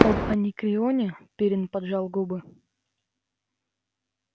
об анекреоне пиренн поджал губы